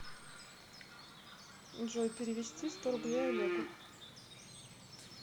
джой перевести сто рублей олегу